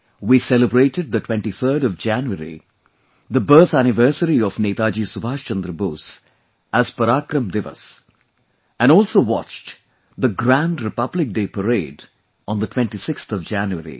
We celebrated the 23rd of January, the birth anniversary of Netaji Subhash Chandra Bose as PARAKRAM DIWAS and also watched the grand Republic Day Parade on the 26th of January